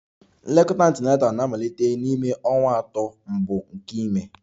Nlekọta Antenatal na-amalite n'ime ọnwa atọ mbụ nke ime